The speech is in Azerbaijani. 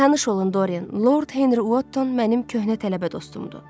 Tanış olun, Dorian, Lord Henri Wotton mənim köhnə tələbə dostumdur.